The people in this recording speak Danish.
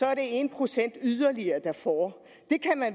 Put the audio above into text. er det en procent yderligere der får